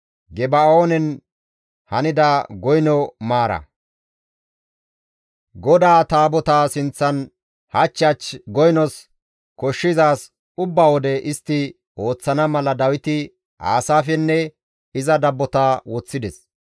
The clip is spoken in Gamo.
GODAA Taabotaa sinththan hach hach goynos koshshizaaz ubba wode istti ooththana mala Dawiti Aasaafenne iza dabbota woththides.